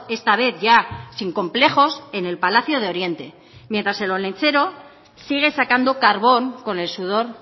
esta vez ya sin complejos en el palacio de oriente mientras el olentzero sigue sacando carbón con el sudor